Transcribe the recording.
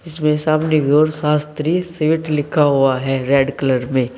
जिसमें सामने की ओर शास्त्री स्वीट लिखा हुआ है रेड कलर में।